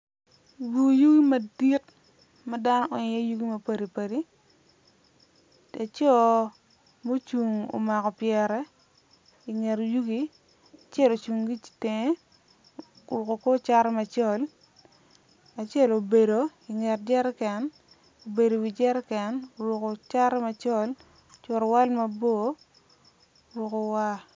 Bur yugi madit ma dano onyo i iye yugi mapadipadi laco ma ocung omako pyere inget yugi acel ocung gi itenge oruko kor cati macol, acel obedo inget jereken obedo i wi jereken oruko kor cati macol curuwal mabor oruko war